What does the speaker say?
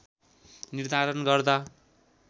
निर्धारण गर्दा